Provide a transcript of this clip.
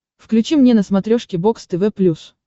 включи мне на смотрешке бокс тв плюс